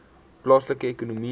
plaaslike ekonomiese